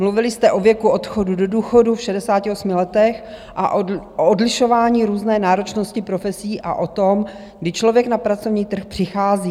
Mluvili jste o věku odchodu do důchodu v 68 letech a o odlišování různé náročnosti profesí a o tom, kdy člověk na pracovní trh přichází.